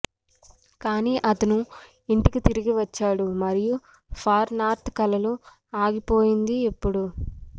కానీ అతను ఇంటికి తిరిగి వచ్చాడు మరియు ఫార్ నార్త్ కలలు ఆగిపోయింది ఎప్పుడూ